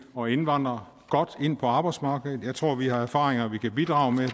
og indvandrere godt ind på arbejdsmarkedet jeg tror at vi har erfaringer vi kan bidrage med